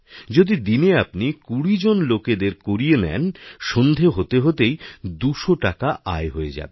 যদি দিনে আপনি ২০ জন লোকেদের করিয়ে নেন সন্ধে হতে হতে ২০০ টাকা আয় হয়ে যাবে